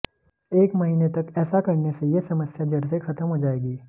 एक महीने तक ऐसा करने से ये समस्या जड़ से खत्म हो जाएगी